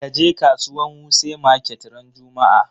Kaje kasuwan wuse market ran juma'a!